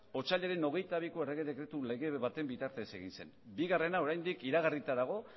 otsailaren hogeita biko errege dekretu lege baten bitartez egin zen bigarrena oraindik iragarrita dago